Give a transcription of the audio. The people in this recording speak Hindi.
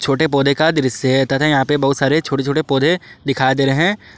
छोटे पौधे का दृश्य है तथा यहां पे बहुत सारे छोटे छोटे पौधे दिखाई दे रहे हैं।